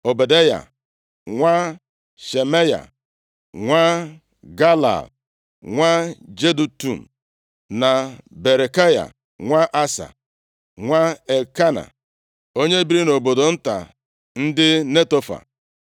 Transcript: Ọbadaya nwa Shemaya, nwa Galal, nwa Jedutun; na Berekaya nwa Asa, nwa Elkena onye biri nʼobodo nta ndị Netofa.